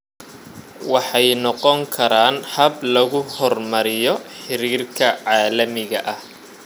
Waxay noqon karaan hab lagu horumariyo xiriirka caalamiga ah.